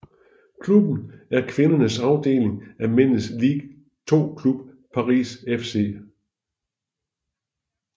Klubben er kvindernes afdeling af mændenes Ligue 2 klub Paris FC